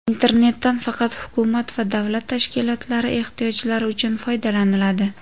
Internetdan faqat hukumat va davlat tashkilotlari ehtiyojlari uchun foydalaniladi.